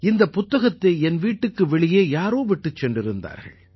இந்தப் புத்தகத்தை என் வீட்டுக்கு வெளியே யாரோ விட்டுச் சென்றிருந்தார்கள்